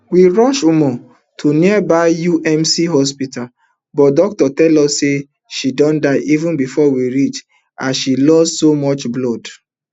we rush ummu to nearby UMC hospital but doctors tell us say she don die even bifor we reach as she lost so much blood